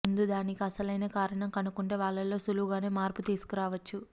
ముందు దానికి అసలైన కారణం కనుక్కుంటే వాళ్లలో సులువుగానే మార్పు తీసుకురావచ్చు